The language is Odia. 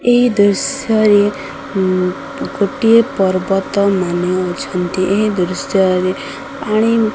ଏଇ ଦୃଶ୍ୟରେ ଉଁ ଗୋଟିଏ ପର୍ବତମାନ ଅଛନ୍ତି ଏହି ଦୃଶ୍ୟରେ ପାଣି --